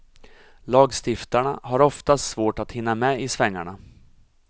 Lagstiftarna har oftast svårt att hinna med i svängarna.